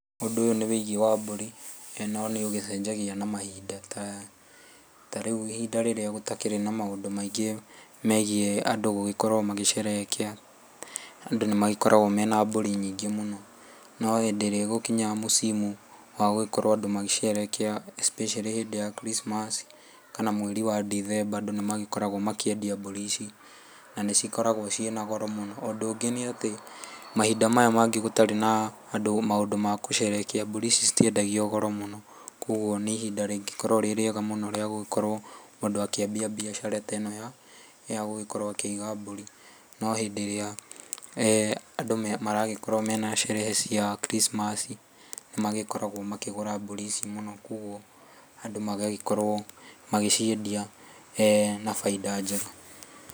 Ũndũ ũyũ nĩ wĩgiĩ wa mbũri, no nĩ ũgĩcenjagia na mahinda ta rĩu ihinda rĩrĩa gũtakĩrĩ na maũndũ maingĩ megiĩ andũ gũgĩkorwo magĩ sherehekea, andũ nĩ magĩkoragwo mena mbũri nyingĩ mũno. Nĩ hindĩ gũgĩkinyaga msimu wa gũgĩkorwo andũ magĩ sherehekea, especially hĩndĩ ya krisimasi kana mweri wa dithemba, andũ nĩ magĩkoragwo ma kĩendia mbũri ici na nĩ cikoragwo cina goro mũno. Ũndũ ũngĩ nĩ atĩ mahinda maya mangĩ gũtarĩ na andũ maũndũ magũ sherehekea mbũri ici citiendagio goro mũno kwoguo nĩ ihinda rĩngĩkorũo rĩ rĩega mũno rĩa gũgĩkorũo mũndũ akĩambia mbiacara ta ĩno ya gũkĩiga mbũri. No hĩndĩ ĩrĩa andũ maragĩkorwo mena sherehe cia krisimasi nĩ magĩkoragũo makĩgũra mbũri ici mũno kwoguo andũ magagĩkorũo magĩciendia na faida njega.